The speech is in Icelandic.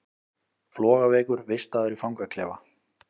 Flogaveikur vistaður í fangaklefa